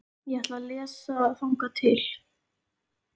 Ég ætla að lesa þangað til.